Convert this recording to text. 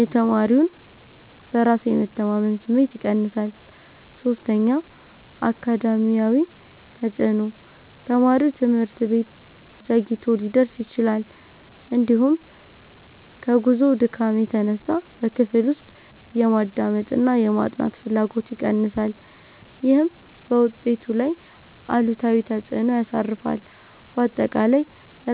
የተማሪውን በራስ የመተማመን ስሜት ይቀንሳል። 3. አካዳሚያዊ ተፅዕኖ፦ ተማሪው ትምህርት ቤት ዘግይቶ ሊደርስ ይችላል፤ እንዲሁም ከጉዞው ድካም የተነሳ በክፍል ውስጥ የማዳመጥና የማጥናት ፍላጎቱ ይቀንሳል። ይህም በውጤቱ ላይ አሉታዊ ተፅዕኖ ያሳርፋል። ባጠቃላይ፣